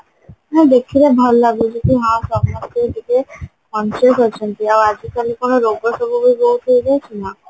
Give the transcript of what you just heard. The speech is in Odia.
ହଁ ଦେଖିବେ ଭଲ ଲାଗୁଛି କି ହଁ ସମସ୍ତେ ଟିକେ punctual ଅଛନ୍ତି ଆଉ ଆଜି କାଲି କଣ ରୋଗ ସବୁ ବହୁତ ହଉଚି ନାଁ